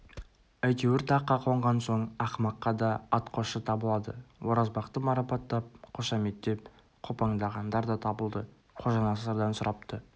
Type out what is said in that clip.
әйтеуір таққа қонған соң ақымаққа да атқосшы табылады оразбақты марапаттап қошаметтеп қопаңдағандар да табылды қожанасырдан сұрапты